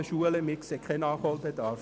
Wir sehen keinen Nachholbedarf.